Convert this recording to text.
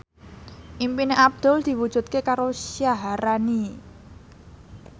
impine Abdul diwujudke karo Syaharani